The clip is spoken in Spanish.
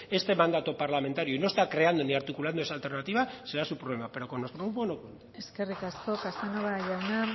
este mandato parlamentario y no está creando ni articulando esa alternativa será su problema pero con nuestro grupo no cuenten eskerrik asko casanova jauna